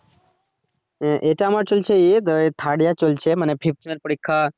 আহ এটা আমার চলছে third year চলছে মানে পরীক্ষা